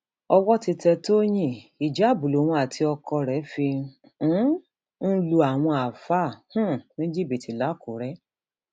owó ti tẹ tọyìn ìjáàbù lòun àti ọkọ rẹ fi um ń lu àwọn àáfàá um ní jìbìtì làkúrè